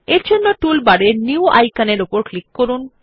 তাই টুলবারের নিউ আইকনের উপর ক্লিক করুন